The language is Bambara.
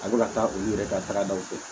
A bɛ ka taa olu yɛrɛ ka taga daw fɛ